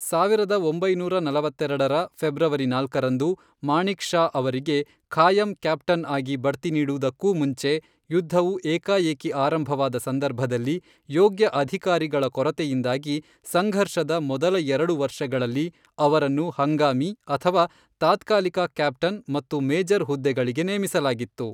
ಸಾವಿರದ ಒಂಬೈನೂರ ನಲವತ್ತೆರಡರ ಫೆಬ್ರವರಿ ನಾಲ್ಕರಂದು ಮಾಣಿಕ್ ಷಾ ಅವರಿಗೆ ಖಾಯಂ ಕ್ಯಾಪ್ಟನ್ ಆಗಿ ಬಡ್ತಿ ನೀಡುವುದಕ್ಕೂ ಮುಂಚೆ, ಯುದ್ಧವು ಏಕಾಏಕಿ ಆರಂಭವಾದ ಸಂದರ್ಭದಲ್ಲಿ ಯೋಗ್ಯ ಅಧಿಕಾರಿಗಳ ಕೊರತೆಯಿಂದಾಗಿ, ಸಂಘರ್ಷದ ಮೊದಲ ಎರಡು ವರ್ಷಗಳಲ್ಲಿ, ಅವರನ್ನು ಹಂಗಾಮಿ ಅಥವಾ ತಾತ್ಕಾಲಿಕ ಕ್ಯಾಪ್ಟನ್ ಮತ್ತು ಮೇಜರ್ ಹುದ್ದೆಗಳಿಗೆ ನೇಮಿಸಲಾಗಿತ್ತು.